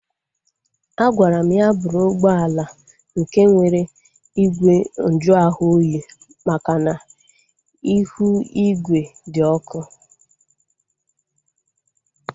A gwara m ya bụrụ ụgbọala nke nwere igwe nju ahụ oyi makana ihu igwe di ọkụ